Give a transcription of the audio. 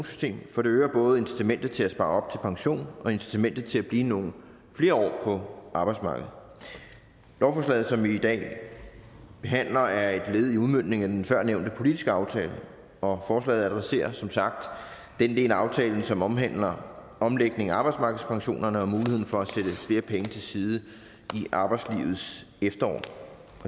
system for det øger både incitamentet til at spare op til pension og incitamentet til at blive nogle flere år på arbejdsmarkedet lovforslaget som vi i dag behandler er et led i udmøntningen af den førnævnte politiske aftale og forslaget adresserer som sagt den del af aftalen som omhandler omlægning af arbejdsmarkedspensionerne og muligheden for at sætte flere penge til side i arbejdslivets efterår